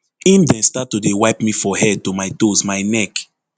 im dem start to dey wipe me for head to my toes my neck